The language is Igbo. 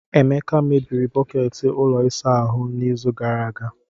Emeka mebiri bọket ụlọ ịsa ahụ ahụ n'izu gara aga.